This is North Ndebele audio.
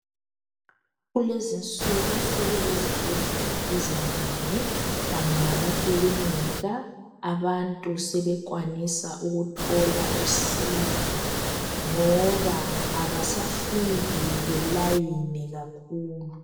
Kulezinsuku sokulezibhedlela ezinengi kanye lamakilinika. Abantu sebekwanisa ukuthola usizo ngoba abasafiki belayine kakhulu.